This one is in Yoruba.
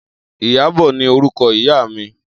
Iyabo ni órúkò ìyá mi